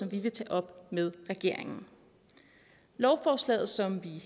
vi vil tage op med regeringen lovforslaget som vi